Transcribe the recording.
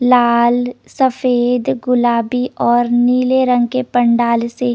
लाल सफ़ेद गुलाबी और नील रंग के पंडाल से --